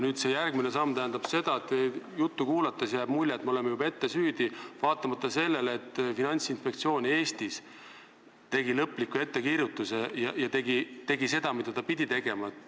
Nüüd, see järgmine samm tähendab seda või teie juttu kuulates jääb mulje, et me oleme juba ette süüdi, vaatamata sellele, et meie Finantsinspektsioon tegi lõpliku ettekirjutuse ja tegi seda, mida ta pidi tegema.